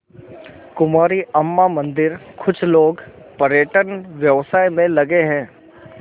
कुमारी अम्मा मंदिरकुछ लोग पर्यटन व्यवसाय में लगे हैं